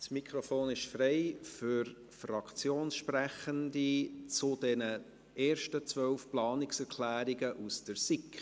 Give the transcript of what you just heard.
Das Mikrofon zu den ersten 12 Planungserklärungen der SiK ist frei für Fraktionssprechende.